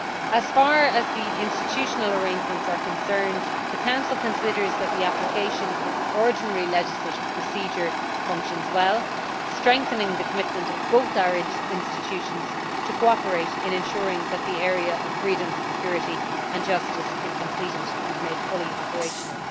As far as the institutional arrangements are concerned, the Council considers that the application of the ordinary legislative procedure functions well, strengthening the commitment of both our institutions to cooperate in ensuring that the area of freedom, security and justice is completed and made fully operational.